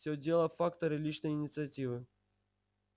всё дело в факторе личной инициативы